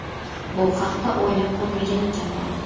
Bu haqda o‘ylab ko‘rmagan ekanman.